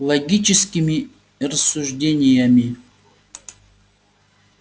логическими рассуждениями